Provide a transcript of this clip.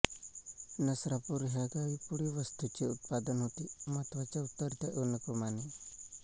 नसरापूर ह्या गावी पुढील वस्तूंचे उत्पादन होते महत्त्वाच्या उतरत्या अनुक्रमाने